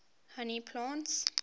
honey plants